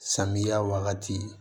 Samiya wagati